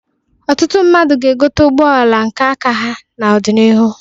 Ọtụtụ mmadụ ga-egote ụgbọala nke aka ha n'ọdịnihu.